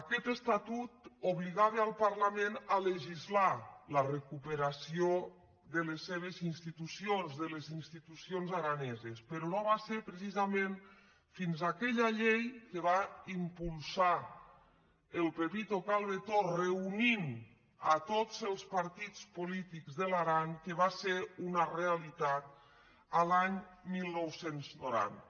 aquest estatut obligava el parlament a legislar la recuperació de les seves ins·titucions de les institucions araneses però no va ser precisament fins aquella llei que va impulsar el pepi·to calbetó reunint a tots els partits polítics de l’aran que va ser una realitat l’any dinou noranta